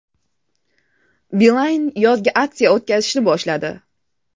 Beeline yozgi aksiya o‘tkazishni boshladi.